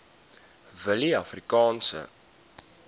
willieafrikaanse